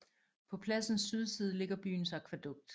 På pladsens sydside ligger byens akvædukt